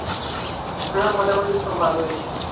হ্যাঁ মোটামুটি সব ভালো হয়েছে